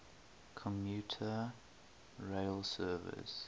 commuter rail service